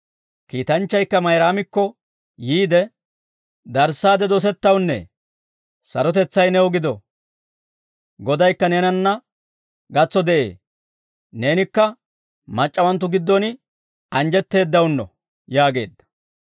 Kiitanchchaykka Mayraamikko yiide, «Darissaade dosettawunnee, sarotetsay new gido; Godaykka neenanna gatso de'ee; Neenikka mac'c'awanttu giddon anjjetteeddawunno» yaageedda.